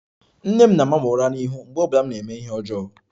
Nne m na-ama m ura n'ihu mgbe ọ bụla m na-eme ihe ọjọọ